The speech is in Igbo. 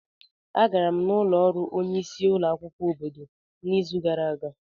Agara m n'ụlọ ọrụ onye isi ulo akwukwo obodo n'izu gara aga.